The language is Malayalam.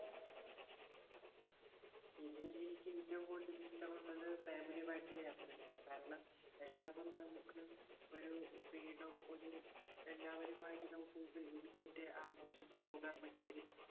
ഇതിൽ എനിക്ക് ഇഷ്ടപ്പെട്ടത് family യുമായിട്ടുള്ള യാത്രയാണ്. കാരണം എല്ലാ നമ്മുക്ക് ഒരു freedom ഒരു എല്ലാവരും ആയിട്ട് നമ്മുക്ക് ആഘോഷിച്ചു പോകാൻ പറ്റിയൊരു